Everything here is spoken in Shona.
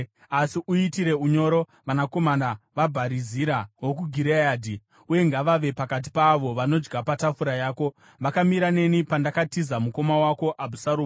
“Asi uitire unyoro vanakomana vaBharizira wokuGireadhi, uye ngavave pakati paavo vanodya patafura yako. Vakamira neni pandakatiza mukoma wako Abhusaromu.